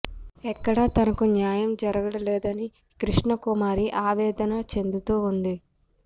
ఎక్కడా తనకు న్యాయం జరగడలేదని కృష్ణకుమ ారి అవేదన చెందుతూ ఉంది